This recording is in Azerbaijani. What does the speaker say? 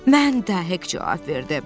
Mən də, Hek cavab verdi.